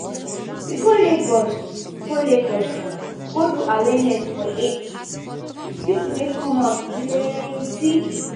we go lagos go lagos go do awareness for aids. people wey come out plenty.